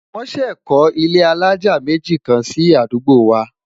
wón sé kò ilé alájá méjì kàn sí àdúgbò wa